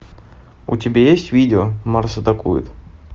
у тебя есть видео марс атакует